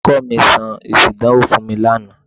Olùkọ́ mi sọ èsì ìdánwò fún mi laana.